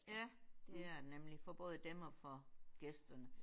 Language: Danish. Ja det er det nemlig. For både dem og for gæsterne